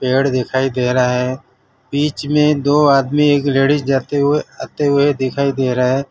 पेड़ दिखाई दे रहा है बीच में दो आदमी एक लेडिस जाते हुए आते हुए दिखाई दे रहा है।